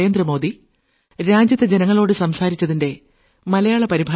നമസ്കാരം